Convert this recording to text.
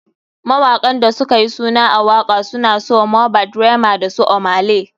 Mawaƙan da sukayi suna a waka suna su, Mohbad, Rema dasu ohmay lay.